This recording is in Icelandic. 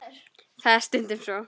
Það er stundum svo.